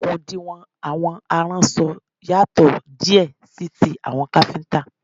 Okùn ìdiwọ̀n àwọn aránṣọ yàtò díè sí ti àwọn káfíntà.